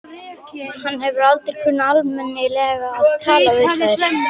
Hann hefur aldrei kunnað almennilega að tala við þær.